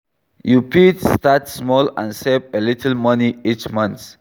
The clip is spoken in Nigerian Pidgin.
You fit start small and save a little money each month.